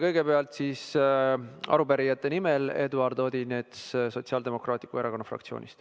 Kõigepealt arupärijate nimel Eduard Odinets Sotsiaaldemokraatliku Erakonna fraktsioonist.